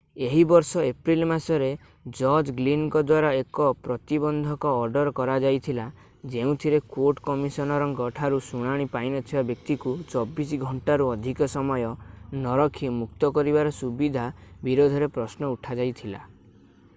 ଏହି ବର୍ଷ ଏପ୍ରିଲ୍ ମାସରେ ଜଜ ଗ୍ଲିନଙ୍କ ଦ୍ୱାରା ଏକ ପ୍ରତିବନ୍ଧକ ଅର୍ଡର କରାଯାଇଥିଲା ଯେଉଁଥିରେ କୋର୍ଟ କମିଶନରଙ୍କ ଠାରୁ ଶୁଣାଣି ପାଇନଥିବା ବ୍ୟକ୍ତିଙ୍କୁ 24 ଘଣ୍ଟାରୁ ଅଧିକ ସମୟ ନରଖି ମୁକ୍ତ କରିବାର ସୁବିଧା ବିରୋଧରେ ପ୍ରଶ୍ନ ଉଠାଯାଇଥିଲା